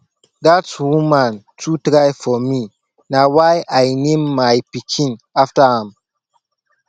dat woman too try for me na why i name my pikin after am